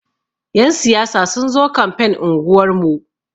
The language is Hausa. Yan siyasa sun zo kamfen unguwar mu.